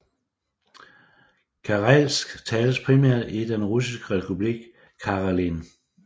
Karelsk tales primært i den russiske republik Karelen